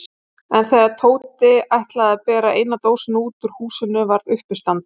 En þegar Tóti ætlaði að bera eina dósina út úr húsinu varð uppistand.